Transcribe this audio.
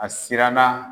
A siranna